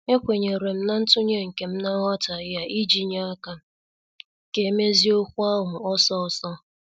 Ekwenyerem na ntunye nkem na nghotaghie a iji nye aka ka emezie okwu ahụ ọsọ ọsọ.